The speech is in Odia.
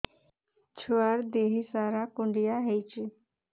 ଛୁଆର୍ ଦିହ ସାରା କୁଣ୍ଡିଆ ହେଇଚି